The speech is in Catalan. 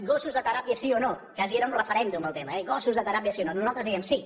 gossos de teràpia sí o no quasi era un referèndum el tema eh gossos de teràpia sí o no nosaltres dèiem sí